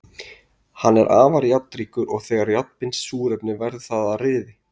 Hann er afar járnríkur og þegar járn binst súrefni verður það að ryði.